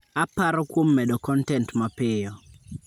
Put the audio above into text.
Aparo kuom medo kontent mapiyo.